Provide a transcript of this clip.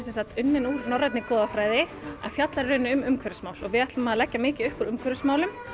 unnin úr norrænni goðafræði en fjallar í rauninni um umhverfismál og við ætlum að leggja mikið upp úr umhverfismálum